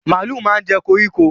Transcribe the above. Màlúù máa ń jẹ́ koríko